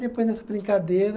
Depois dessa brincadeira,